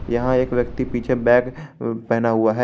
यहां एक व्यक्ति पीछे बैग पहना हुआ है।